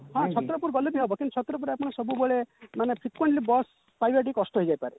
ହଁ ଛତ୍ରପୁର ଗଲେ ବି ହବ କିନ୍ତୁ ଛତ୍ରପୁରରେ ଆପଣ ସବୁବେଳେ ମାନେ frequently bus ପାଇବା ଟିକେ କଷ୍ଟ ହେଇଯାଇପାରେ